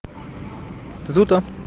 ты тут да